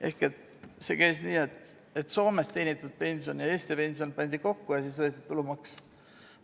Ehk see käis varem nii, et Soomes teenitud pension ja Eesti pension pandi kokku ja siis võeti tulumaks.